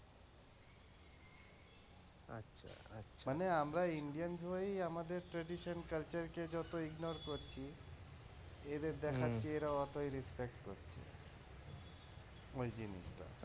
মানে আমরা indians হয়েই আমাদের tradition culture কে যত ignore করছি, এদের দেখাচ্ছি এরা অতই respect করছে, ওই জিনিসটা।